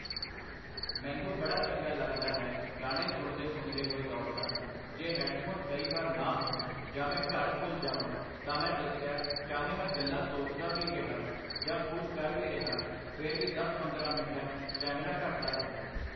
ਮੈਨੂੰ ਬੜਾ ਚੰਗਾ ਲੱਗਦਾ ਹੈ ਗਾਣੇ ਸੁਣਦੇ ਸੁਣਦੇ ਹੋਏ ਦੌੜਣਾ, ਜੇ ਹੈੱਡਫ਼ੋਨ ਕਈ ਵਾਰ ਨਾ ਹੋਣ ਜਾਂ ਮੈਂ ਘਰ ਭੁੱਲ ਜਾਵਾਂ ਤਾਂ ਮੈਂ ਦੱਸਿਆ ਚਾਹੇ ਮੈਂ ਗੱਲਾਂ ਸੋਚਦਾ ਵੀ ਰਿਹਾ, ਜਾਂ ਕੁੱਝ ਕਰ ਵੀ ਰਿਹਾ, ਫਿਰ ਵੀ ਦਸ ਪੰਦਰ੍ਹਾਂ ਮਿੰਟਾਂ 'ਚ ਸਟੈਮਿਨਾਂ ਘੱਟਦਾ ਹੈ